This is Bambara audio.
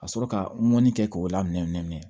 Ka sɔrɔ ka mɔni kɛ k'o lamɛn nɛminɛn